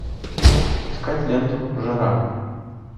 искать ленту жара